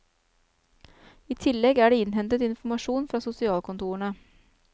I tillegg er det innhentet informasjon fra sosialkontorene.